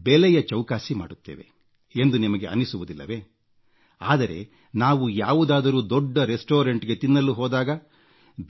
ಎಂದು ಬೆಲೆಯ ಚೌಕಾಸಿ ಮಾಡುತ್ತೇವೆ ಎಂದು ನಿಮಗೆ ಅನ್ನಿಸುವುದಿಲ್ಲವೇ ಆದರೆ ನಾವು ಯಾವುದಾದರೂ ದೊಡ್ಡ ರೆಸ್ಟೋರೆಂಟ್ಗೆ ತಿನ್ನಲು ಹೋದಾಗ